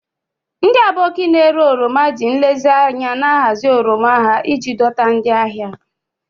Ndị Aboki na-ere oroma ji nlezianya na-ahazi oroma ha iji dọta ndị ahịa.